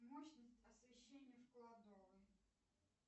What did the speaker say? мощность освещения в кладовой